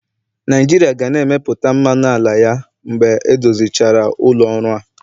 Naijiria ga na-emepụta mmanụ ala ya mgbe edozichara ụlọ ọrụ a.